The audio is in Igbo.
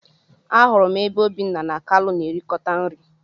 Ahụrụ m ebe Obinna na kalu na erikota nri.